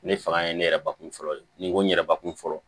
Ne fanga ye ne yɛrɛ bakun fɔlɔ de ni n ko n yɛrɛ bakun fɔlɔ